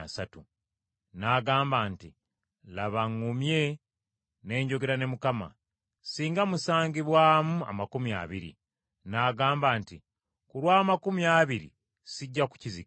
N’agamba nti, “Laba ŋŋumye ne njogera ne Mukama. Singa musangibwamu amakumi abiri.” N’agamba nti, “Ku lw’amakumi abiri sijja kukizikiriza.”